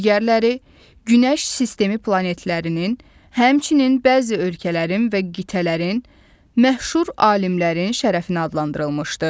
Digərləri Günəş sistemi planetlərinin, həmçinin bəzi ölkələrin və qitələrin məşhur alimlərin şərəfinə adlandırılmışdı.